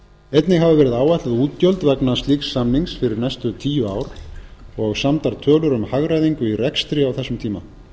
einnig hafa verið áætluð útgjöld vegna slíks samnings fyrir næstu tíu ár og samdar tölur um hagræðingu í rekstri á þessum tíma